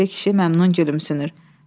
Eynəkli kişi məmnun gülümsünür.